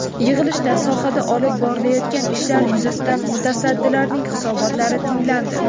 Yig‘ilishda sohada olib borilayotgan ishlar yuzasidan mutasaddilarning hisobotlari tinglandi.